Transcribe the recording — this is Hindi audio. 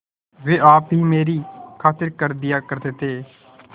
वे आप ही मेरी खातिर कर दिया करते थे